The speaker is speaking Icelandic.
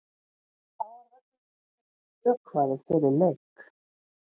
Þá var völlurinn ekki heldur vökvaður fyrir leik.